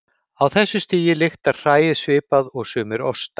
Á þessu stigi lyktar hræið svipað og sumir ostar.